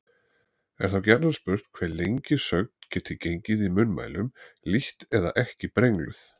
Er þá gjarnan spurt hve lengi sögn geti gengið í munnmælum lítt eða ekki brengluð.